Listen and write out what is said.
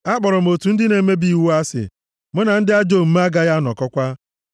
Akpọrọ m otu ndị na-emebi iwu asị. Mụ na ndị ajọ omume agaghị anọkọkwa.